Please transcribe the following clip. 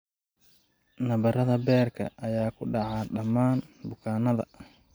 Nabarrada beerka ayaa ku dhaca dhammaan bukaannada.